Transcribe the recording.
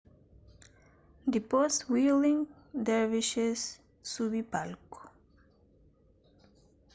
dipôs whirling dervishes subi palku